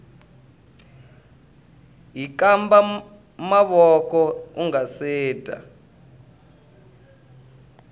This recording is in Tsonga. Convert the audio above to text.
hkamba mavoko ungase dya